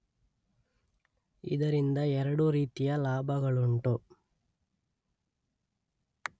ಇದರಿಂದ ಎರಡು ರೀತಿಯ ಲಾಭಗಳುಂಟು.